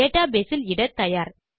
database இல் இட தயார்